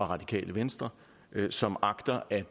radikale venstre som agter at